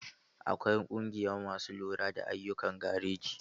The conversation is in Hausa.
Akwai ƙungiya masu lura da ayyukan gareji.